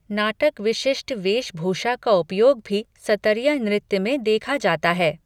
नाटक विशिष्ट वेशभूषा का उपयोग भी सतरिया नृत्य में देखा जाता है।